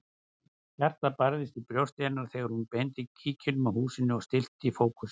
Hjartað barðist í brjósti hennar þegar hún beindi kíkinum að húsinu og stillti fókusinn.